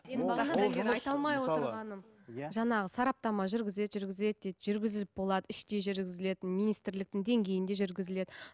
жаңағы сараптама жүргізеді жүргізеді дейді жүргізіліп болады іштей жүргізіледі министрліктің деңгейінде жүргізіледі